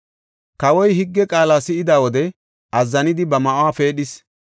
Kawoy higge qaala si7ida wode azzanidi ba ma7uwa pheedhis.